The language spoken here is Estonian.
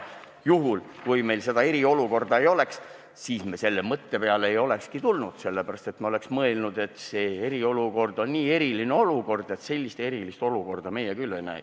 Juhul, kui meil seda eriolukorda ei oleks, siis me ei olekski selle mõtte peale tulnud, sest siis me oleksime mõelnud, et eriolukord on nii eriline olukord, et sellist erilist olukorda meie küll ei näe.